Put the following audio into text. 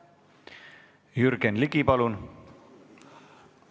Jürgen Ligi, palun!